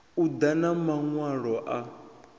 u ḓa na maṅwalo a